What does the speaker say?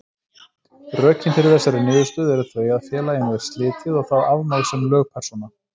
Rökin fyrir þessari niðurstöðu eru þau að félaginu er slitið og það afmáð sem lögpersóna.